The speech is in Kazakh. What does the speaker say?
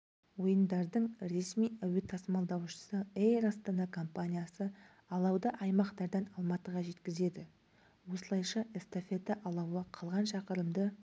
ойындардың ресми әуетасымалдаушысы эйр астана компаниясы алауды аймақтардан алматыға жеткізеді осылайша эстафета алауы қалған шақырымды